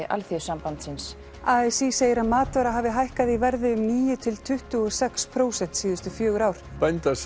Alþýðusambandsins a s í segir að matvara hafi hækkað í verði um níu til tuttugu og sex prósent síðustu fjögur ár